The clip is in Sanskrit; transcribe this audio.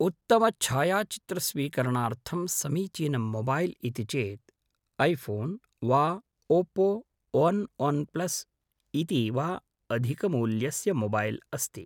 उत्तमछायाचित्रस्वीकरणार्थम् समीचीनं मोबैल् इति चेत् ऐफोन् वा ओप्पो ओन् ओन्प्लस् इति वा अधिकमूल्यस्य मोबैल् अस्ति